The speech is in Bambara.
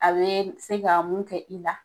A be se ka mun kɛ i la